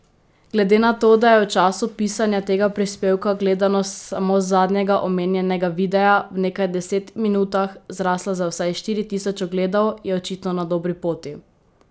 Glede na to, da je v času pisanja tega prispevka gledanost samo zadnjega omenjenega videa, v nekaj deset minutah zrasla za vsaj štiri tisoč ogledov, je očitno na dobri poti.